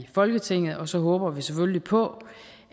folketinget og så håber vi selvfølgelig på